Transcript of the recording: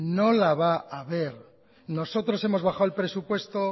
no la va a ver nosotros hemos bajado el presupuesto